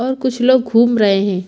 और कुछ लोग घूम रहे है।